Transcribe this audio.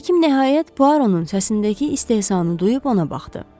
Həkim nəhayət Puaronun səsindəki istehzanı duyub ona baxdı.